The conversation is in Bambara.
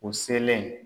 U selen